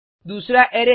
दूसरा अरै है